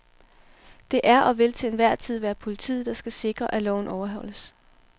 Det er og vil til enhver tid være politiet, der skal sikre, at loven overholdes.